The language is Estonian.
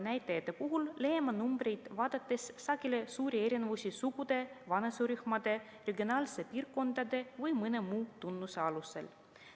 ... näitajate puhul leiame numbreid vaadates sageli suuri erinevusi sugude, vanuserühmade, regionaalsete piirkondade või mõne muu tunnuse alusel.